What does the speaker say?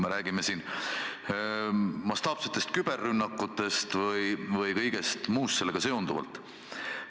Ma pean silmas mastaapseid küberrünnakuid ja kõike muud sellega seonduvat.